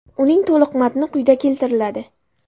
Uning to‘liq matni quyida keltiriladi.